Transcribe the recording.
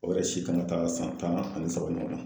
O yɛrɛ si taa san tan ani saba ɲɔgɔn na.